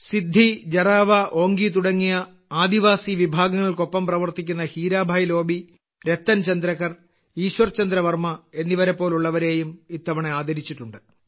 സിദ്ധി ജറാവ ഓങ്കി തുടങ്ങിയ ആദിവാസി വിഭാഗങ്ങൾക്കൊപ്പം പ്രവർത്തിക്കുന്ന ഹീരാഭായ് ലോബി രത്തൻ ചന്ദ്രകർ ഈശ്വർ ചന്ദ്ര വർമ്മ എന്നിവരെപ്പോലുള്ളവരെയും ഇത്തവണ ആദരിച്ചിട്ടുണ്ട്